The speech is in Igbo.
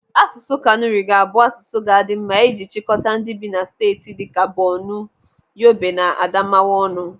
Asụsụ Kanuri ga-abụ asụsụ ga-adị mma iji chịkọta ndị bi na steeti dịka Bornu, Yobe na Adamawa ọnụ.